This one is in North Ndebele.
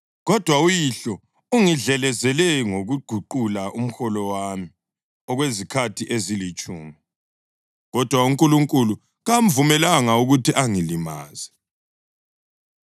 kodwa uyihlo ungidlelezele ngokuguqula umholo wami okwezikhathi ezilitshumi. Kodwa uNkulunkulu kamvumelanga ukuthi angilimaze.